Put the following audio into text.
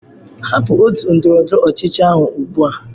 Hapụ otu ndọrọ ndọrọ ọchịchị ahu ugbu a!